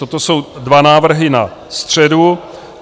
Toto jsou dva návrhy na středu.